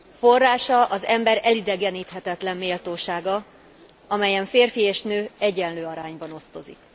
Forrása az ember elidegeníthetetlen méltósága, amelyen férfi és nő egyenlő arányban osztozik.